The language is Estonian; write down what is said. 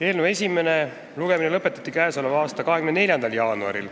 Eelnõu esimene lugemine lõpetati k.a 24. jaanuaril.